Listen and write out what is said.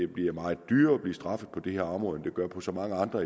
bliver meget dyrere at blive straffet på det her område end det gør på så mange andre